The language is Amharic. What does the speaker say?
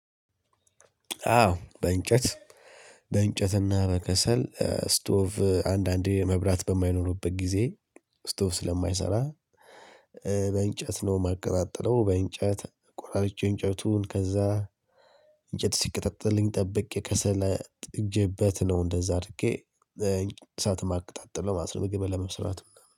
አዎ በእንጨት በእንጨትና በከሰል ስቶፍ አንዳንዴ መብራት በማይኖርበት ጊዜ ስቶፍ ስለማይሰራ በእንጨት ነው የማቀጣጥለው። በእንጨት ቆራርጬ እንጨቱን ከዛ እንጨት ሲቀጠጥልኝ ጠብቄ ከሰል ጥጄበት ነው እንደዛ አድርጌ እሳት ማቀጣጥለው ማለት ነው። ምግብ ለመስራት ምናምን